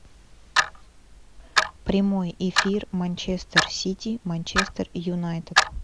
прямой эфир манчестер сити манчестер юнайтед